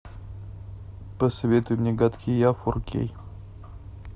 посоветуй мне гадкий я фор кей